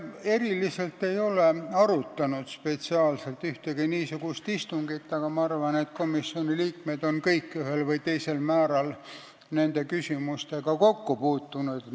Ei, me ei ole seda spetsiaalselt arutanud ühelgi istungil, aga ma arvan, et komisjoni liikmed on kõik ühel või teisel määral nende küsimustega kokku puutunud.